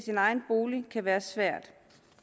i egen bolig kan være svært